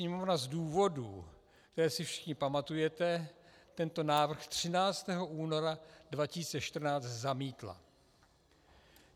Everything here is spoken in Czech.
Sněmovna z důvodů, které si všichni pamatujete, tento návrh 13. února 2014 zamítla.